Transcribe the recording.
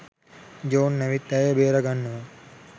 John ඇවිත් ඇයව බේරාගන්නවා